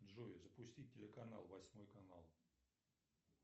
джой запусти телеканал восьмой канал